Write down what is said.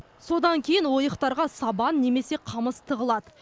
содан кейін ойықтарға сабан немесе қамыс тығылады